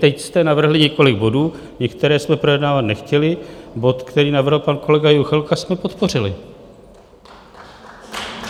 Teď jste navrhli několik bodů, některé jsme projednávat nechtěli, bod, který navrhl pan kolega Juchelka, jsme podpořili.